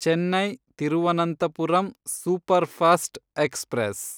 Chennai Thiruvananthapuram superfast express